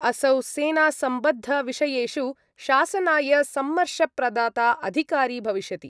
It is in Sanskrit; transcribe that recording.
असौ सेनासम्बद्धविषयेषु शासनाय सम्मर्शप्रदाता अधिकारी भविष्यति।